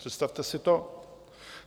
Představte si to!